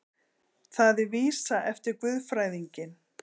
Það er vísa eftir guðfræðinginn